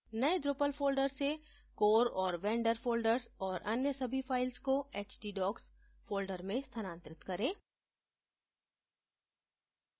नए drupal folder से core और vendor folders और अन्य सभी files को htdocs folder में स्थानांतरित करें